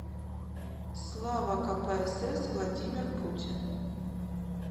слава кпсс владимир путин